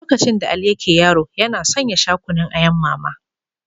Lokacin da Ali yake yaro, yana son ya sha Kunun ayan Mama.